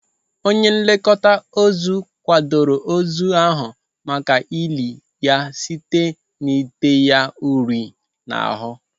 Onye nlekọta ozu kwadoro ozu ahụ maka ili ya site n'ite ya uri n'ahụ.